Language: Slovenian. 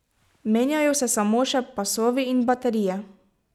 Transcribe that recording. Menjajo se samo še pasovi in baterije.